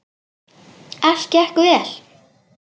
Allt gekk vel.